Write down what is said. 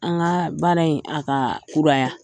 An ka baara in a ka kura ya.